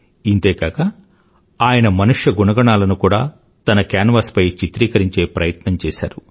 ఇంతే కాక ఆయన మనుష్య గుణగణాలను కూడా తన కేన్వాస్ పై చిత్రీకరించే ప్రయత్నం చేసారు